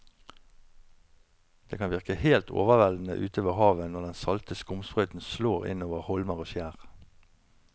Det kan virke helt overveldende ute ved havet når den salte skumsprøyten slår innover holmer og skjær.